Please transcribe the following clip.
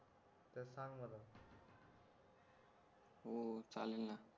हो चालेल ना